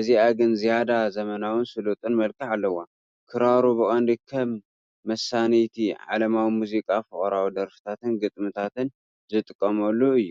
እዚኣ ግን ዝያዳ ዘመናውን ስሉጥን መልክዕ ኣለዋ። ክራሩ ብቐንዱ ከም መሰነይታ ዓለማዊ ሙዚቃ ፍቕራዊ ደርፍታትን ግጥምታትን ዝጥቀመሉ እዩ።